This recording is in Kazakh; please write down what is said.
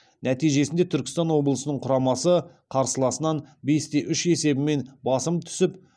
нәтижесінде түркістан облысының құрамасы қарсыласынан бес те үш есебімен басым түсіп